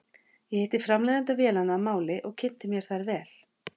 Ég hitti framleiðanda vélanna að máli og kynnti mér þær vel.